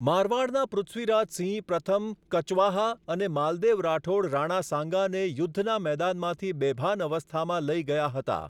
મારવાડના પૃથ્વીરાજ સિંહ પ્રથમ કચવાહા અને માલદેવ રાઠોડ રાણા સાંગાને યુદ્ધના મેદાનમાંથી બેભાન અવસ્થામાં લઈ ગયા હતા.